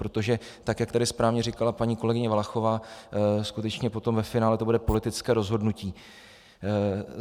Protože tak jak tady správně říkala paní kolegyně Valachová, skutečně potom ve finále to bude politické rozhodnutí.